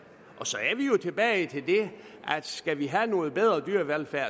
og så er vi jo tilbage til det at skal vi have noget bedre dyrevelfærd